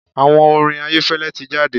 Àwo orin Ayẹ́fẹ́lẹ́ ti jáde.